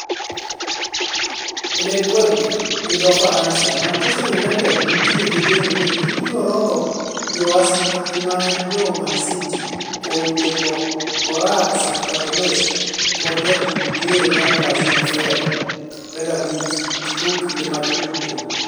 (L'Equipe -gi dho Faransa) Manchester United ntie gi geno ni gibiro rodho jo asikgi ma en jo Manchester City kuom ndiko orag Shakhtar Donetsk kod jatug diere mar Brazil Fred, 25, giko kinde mag tugo.